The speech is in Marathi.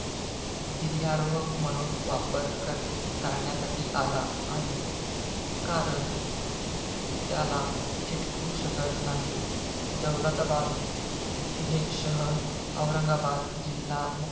गिर्यारोहक म्हणून वापर कर~ टाळण्यासाठी आला आहे. कारण त्याला चिटकू शकत नाही. दौलताबाद हे शहर, औरंगाबाद जिल्हा,